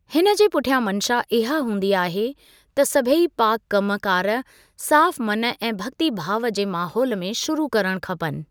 हिनजे पुठियां मंशा इहा हूंदी आहे त सभई पाक कमु कार साफ मन ऐं भक्ति भाव जे माहौल में शुरू करण खपनि।